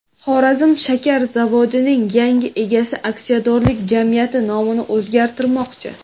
Xorazm shakar zavodining yangi egasi aksiyadorlik jamiyati nomini o‘zgartirmoqchi.